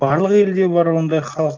барлық елде бар ондай халық